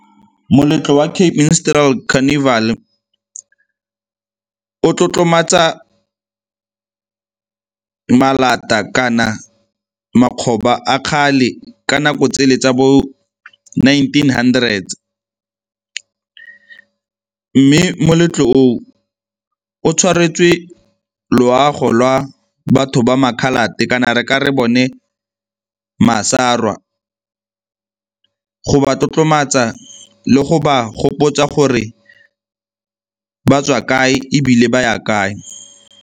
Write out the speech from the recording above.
Moletlo wa Cape Minstrel Carnival-e o tlotlomatsa malata kana makgoba a kgale ka nako tsele tsa bo nineteen hundred, mme moletlo oo o tshwaretswe loago lwa batho ba ma-coloured-te kana re ka re bone masarwa go ba tlotlomatsa le go ba gopotsa gore ba tswa kae ebile ba ya kae.